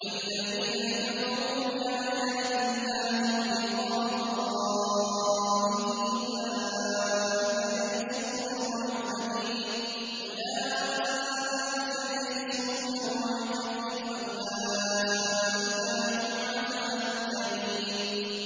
وَالَّذِينَ كَفَرُوا بِآيَاتِ اللَّهِ وَلِقَائِهِ أُولَٰئِكَ يَئِسُوا مِن رَّحْمَتِي وَأُولَٰئِكَ لَهُمْ عَذَابٌ أَلِيمٌ